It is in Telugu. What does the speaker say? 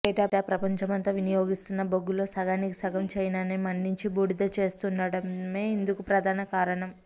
ఏటా ప్రపంచమంతా వినియోగిస్తున్న బొగ్గులో సగానికి సగం చైనానే మండించి బూడిద చేస్తుండటమే ఇందుకు ప్రధాన కారణం